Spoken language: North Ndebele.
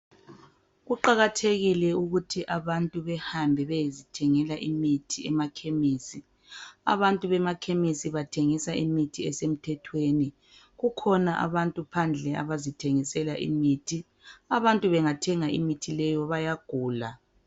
Kuqakathekile ukuthi abantu behambe beyezithengela imithi emakhemisi. Abantu bemakhemisi bathengisa imithi esemthethweni. Kukhona abantu phandle abazithengisela imithi, abantu bengathenga imithi leyo bayagula.